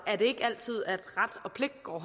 og